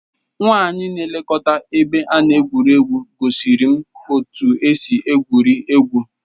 Nwanyị na-elekọta ebe a na-egwu egwuregwu gosiri m otú e si egwuri egwu.